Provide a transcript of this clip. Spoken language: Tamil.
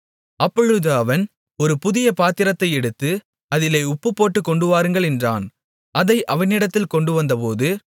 அப்பொழுது அவன் ஒரு புதிய பாத்திரத்தை எடுத்து அதிலே உப்புப் போட்டுக் கொண்டுவாருங்கள் என்றான் அதை அவனிடத்தில் கொண்டுவந்தபோது